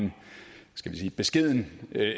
en skal vi sige beskeden